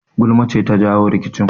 Gulma ce ta jawo rikicin